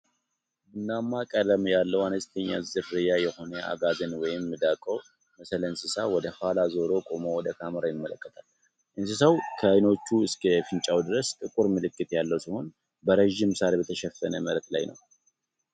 ቡናማማ ቀለም ያለው አነስተኛ ዝርያ የሆነ አጋዘን ወይም ሚዳቋ መሰል እንስሳ ወደ ኋላው ዞሮ ቆሞ ወደ ካሜራው ይመለከታል። እንስሳው ከዓይኖቹ እስከ አፍንጫው ድረስ ጥቁር ምልክት ያለው ሲሆን፣ በረጅም ሳር በተሸፈነ መሬት ላይ ነው።